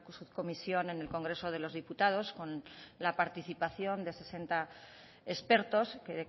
subcomisión en el congreso de los diputados con la participación de sesenta expertos que